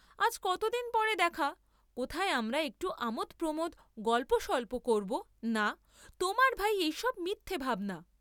আজ কতদিন পরে দেখা, কোথায় আমরা একটু আমোদ প্রমোদ, গল্প স্বল্প করব, না তোমার ভাই এইসব মিথ্যা ভাবনা!